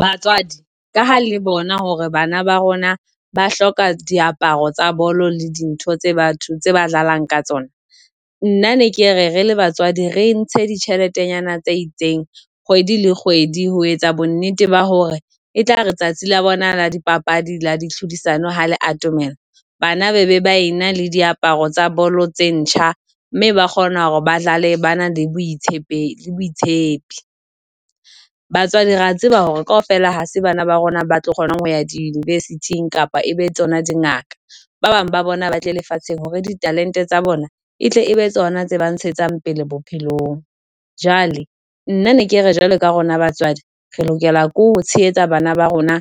Batswadi ka ha le bona hore bana ba rona ba hloka diaparo tsa bolo le dintho tse batho ba dlalang ka tsona. Nna ne ke re re le batswadi re ntse ditjheletenyana tse itseng kgwedi le kgwedi, ho etsa bonnete ba hore e tlare ha tsatsi la bona la dipapadi la di tlhodisano ha le atomela, bana ba be ba ena le diaparo tsa bolo tse ntjha mme ba kgona hore ba dlale ba na le boitshepi boitshepi. Batswadi re a tseba hore kaofela ha se bana ba rona ba tlo kgona ho ya di-university kapa e be tsona di ngaka, ba bang ba bona ba tle lefatsheng hore ditalente tsa bona e tle ebe tsona tse ba ntshetsang pele bophelong. Jwale nna ne ke re jwalo ka rona batswadi re lokela ke ho tshehetsa bana ba rona